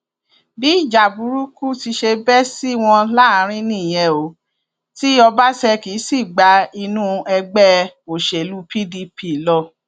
bí ìjà burúkú ti ṣe bẹ sí wọn láàrín nìyẹn o ti ọbaṣẹkí sì gba inú ẹgbẹ òṣèlú pdp lọ